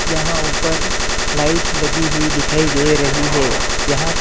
यहां ऊपर लाइट लगी हुई दिखाई दे रही है यहां पर --